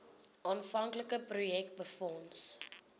aanvanklike projek befonds